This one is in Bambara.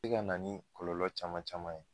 ka na ni kɔlɔlɔ caman caman ye.